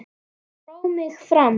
Dró mig fram.